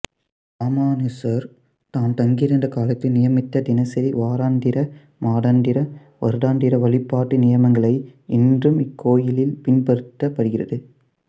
இராமானுசர் தாம் தங்கியிருந்த காலத்தில் நியமித்த தினசரி வாராந்திர மாதந்திர வருடாந்திர வழிபாட்டு நியமங்களையே இன்றும் இக்கோயிலில் பின்பற்றப்படுகிறது